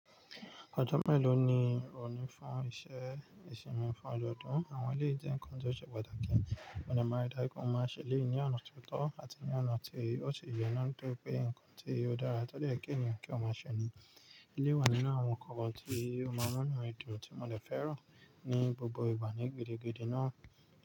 Ọjọ́ mélòó ni o ní fún iṣẹ́ ìsinmi fún ọdọọdún? Àwọn ilé ìjẹun nǹkan tó ṣe pàtàkì, mo ní máa rí i dájú pé o máa ṣẹlẹ̀ ní ọ̀nà tó tọ́ àti ní ọ̀nà tí ó sì ye nà tó pé nǹkan tí ó dára tọ́ lẹ́ẹ̀jẹ́ ènìyàn kí ó máa ṣe ni. Ilé wà nínú àwọn nǹkan tí ó máa rán minu mi dùn tí mo lè fẹ́ràn ní gbogbo ìgbà ní gidigidi náà.